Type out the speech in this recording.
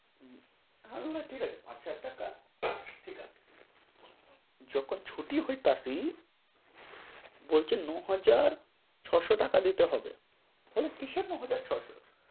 হু, আমি বললাম ঠিক আছে, পাঁচ-সাত টাকা ঠিক আছে। যখন ছুটি হইতাছি, বলছে নয় হাজার ছয়শ টাকা দিতে হবে। বলে কিসের নয় হাজার ছয়শ?